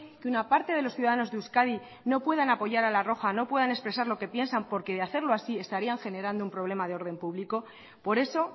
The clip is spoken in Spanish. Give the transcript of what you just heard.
que una parte de los ciudadanos de euskadi no puedan apoyar a la roja no pueden expresar lo que piensan porque de hacerlo así estarían generando un problema de orden público por eso